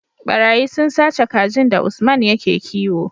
ɓarayi sun sace kajin da usman yake kiwo